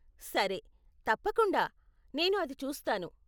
సరే, తప్పకుండా, నేను అది చూస్తాను.